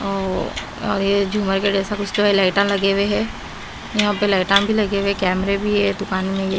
और ये झूमर के जैसा कुछ जो है लाइटा लगे हुए हैं यहां पे लाइटा भी लगे हुए कैमरे भी है दुकान में--